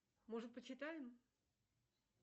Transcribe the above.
может почитаем